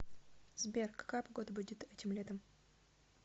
сбер какая погода будет этим летом